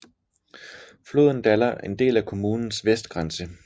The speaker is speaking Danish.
Floden danner en del af kommunens vestgrænse